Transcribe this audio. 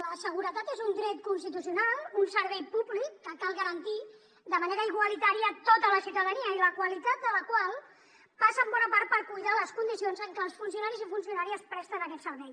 la seguretat és un dret constitucional un servei públic que cal garantir de manera igualitària a tota la ciutadania i la qualitat de la qual passa en bona part per cuidar les condicions en què els funcionaris i funcionàries presten aquest servei